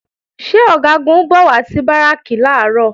Ṣé Ọ̀gágun ń bọ̀ wá sí Báràkì làárọ̀?